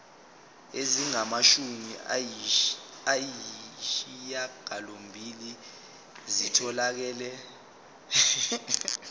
ezingamashumi ayishiyagalolunye zitholakele